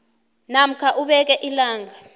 namkha ubeke ilanga